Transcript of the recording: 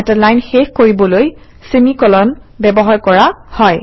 এটা লাইন শেষ কৰিবলৈ চেমি কোলন ব্যৱহাৰ কৰা হয়